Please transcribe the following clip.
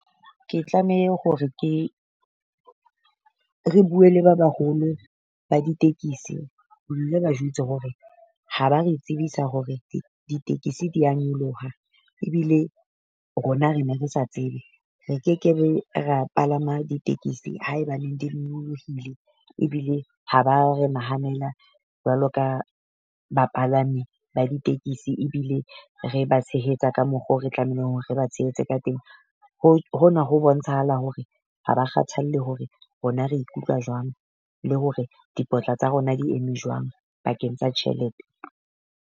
Ke tlamehe hore ke re bue le ba baholo ba ditekisi, ba jwetse hore ha ba re tsebisa hore ditekisi dia nyoloha ebile rona re ne re sa tsebe. Re kekebe ra palama ba ditekesi haeba neng di nyolohile ebile ha ba re nahanela jwalo ka bapalami ba ditekisi ebile re ba tshehetsa ka mokgo re tlamehileng hore re ba tshehetse ka teng. Ho hona ho bontshahala hore ha ba kgathalle hore rona re ikutlwa jwang, le hore dipotla tsa rona di eme jwang pakeng tsa tjhelete.